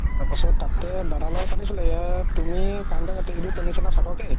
তাৰ পাছত তাতে দাদাৰ লগত পাতিছিলে ইয়াত তুমি